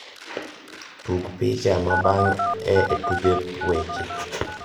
tug picha mabang`e e tuke weche